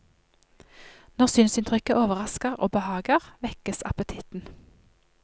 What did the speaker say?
Når synsinntrykket overrasker og behager, vekkes appetitten.